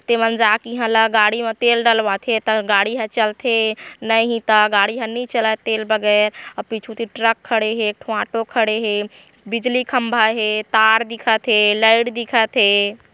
त एमन जाके इहा ला गाड़ी म तेल डलवाथे ता गाड़ी ह चलथे नहीं ता गाड़ी ह नी चलय तेल बगैर अउ पीछू कति ट्रक खड़े हे एक ठो ऑटो खड़े हेबिजली खम्भा हेतार दिखत हेलइट दिखत हे।